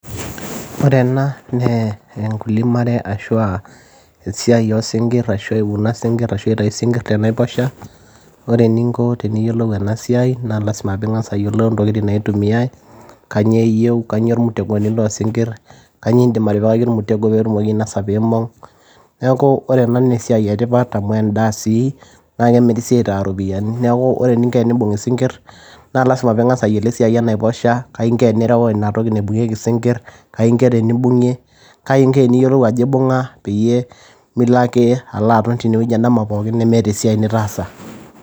Ore ena naa enkilimare ashuu esia oosinkir ashuu aitayu isinkir tenaiposha ,ore eninko teniyiolou ena siai naa lazima peeing'as ayiolou intokitin naitumiyai kanyioo eyieu kanyioo irmutegoni loo sinkir kanyioo indiim atipikaki ormtego peetum ainosha peibung neeku ore ena naa esia etipat amu endaa sii naa kemiri sii aitaa iropiyiani neeku ore eninko tenimbung isinkir naalasima peeing'as ayiolo esiai enaiposha keinko tenireu inatoki naibungieki isinkir kaingo tenimbung'ieng'e kaingo teneyiolou ajo eibung'a milo ake aton teine endama pooki nemeeta esiai nitaasa.